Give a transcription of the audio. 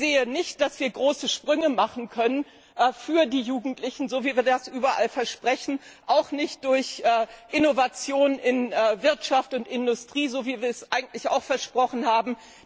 Ich sehe nicht, dass wir große Sprünge für die Jugendlichen machen können, so wie wir das überall versprechen, auch nicht durch Innovation in Wirtschaft und Industrie, so wie wir es eigentlich auch versprochen haben.